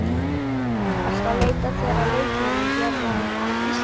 Ertu að leita þér að leikmönnum héðan af Íslandi?